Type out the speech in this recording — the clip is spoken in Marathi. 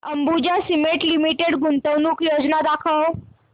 अंबुजा सीमेंट लिमिटेड गुंतवणूक योजना दाखव